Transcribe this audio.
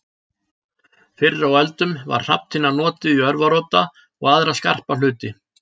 Fyrr á öldum var hrafntinna notuð í örvarodda og aðra skarpa hluti.